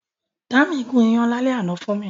Dámi gùn iyán lálẹ́ àná fún mi